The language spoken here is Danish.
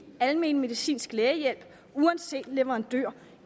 almen medicinsk lægehjælp uanset leverandør